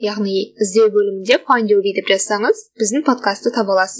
яғни іздеу бөлімінде файнд ю би деп жазсаңыз біздің подкасты таба аласыз